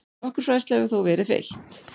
Nokkur fræðsla hefur þó verið veitt.